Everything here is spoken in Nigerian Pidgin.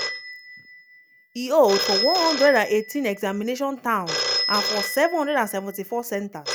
e hold for 118 examination towns and for 774 centres.